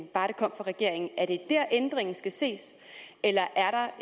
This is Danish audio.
bare det kom fra regeringen er det der ændringen skal ses eller